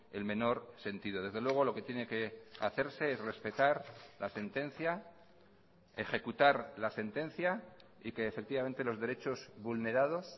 el menor sentido desde luego lo que tiene que hacerse es respetar la sentencia ejecutar la sentencia y que efectivamente los derechos vulnerados